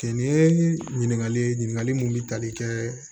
Nin ye ɲininkali ye ɲininkali mun bɛ tali kɛ